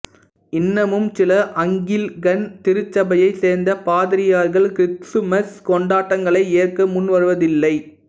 இன்னமும் சில அங்கிலிக்கன் திருச்சபையைச் சேர்ந்த பாதிரியார்கள் கிறிஸ்துமஸ் கொண்டாட்டங்களை ஏற்க முன்வருவதில்லை